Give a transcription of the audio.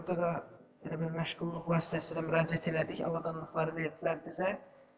Burda da elə bil məşğulluq vasitəsilə müraciət elədik, avadanlıqları verdilər bizə.